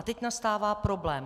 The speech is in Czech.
A teď nastává problém.